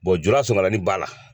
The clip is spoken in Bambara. jurasonkalani b'a la.